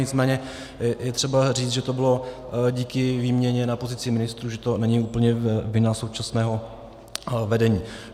Nicméně je třeba říct, že to bylo díky výměně na pozici ministrů, že to není úplně vina současného vedení.